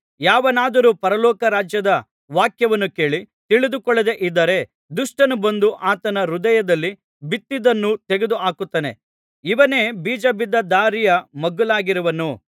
ಯಾವನಾದರೂ ಪರಲೋಕ ರಾಜ್ಯದ ವಾಕ್ಯವನ್ನು ಕೇಳಿ ತಿಳಿದುಕೊಳ್ಳದೆ ಇದ್ದರೆ ದುಷ್ಟನು ಬಂದು ಆತನ ಹೃದಯದಲ್ಲಿ ಬಿತ್ತಿದ್ದನ್ನು ತೆಗೆದು ಹಾಕುತ್ತಾನೆ ಇವನೇ ಬೀಜ ಬಿದ್ದ ದಾರಿಯ ಮಗ್ಗುಲಾಗಿರುವನು